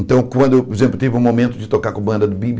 Então, quando, por exemplo, eu tive o momento de tocar com a banda do Bi Bi